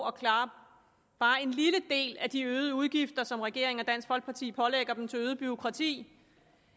klare bare en lille del af de øgede udgifter som regeringen og dansk folkeparti pålægger dem til øget bureaukrati